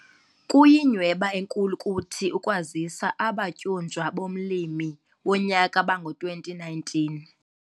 Kuyinyhweba enkulu kuthi ukukwazisa abatyunjwa bomLimi Wonyaka bango-2019.